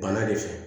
Bana de fɛ